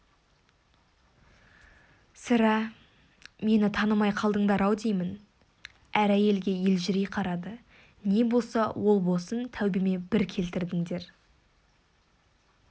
сірә мені танымай қалдыңдар-ау деймін әр әйелге елжірей қарады не боса ол босын тәубеме бір келтірдіңдер